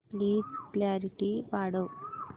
please clarity वाढव